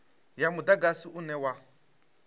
ya mudagasi une wa u